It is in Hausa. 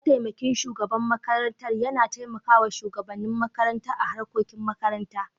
mataimakin shugaban makarantar yana taimakawa shugabannin makarantar a harkokin makarantar.